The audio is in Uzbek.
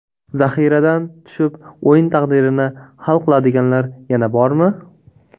Zaxiradan tushib o‘yin taqdirini hal qiladiganlar yana bormi?